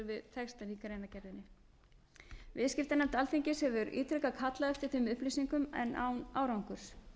við textann í greinargerðinni viðskiptanefnd alþingis hefur ítrekað kallað eftir þeim upplýsingum en án árangurs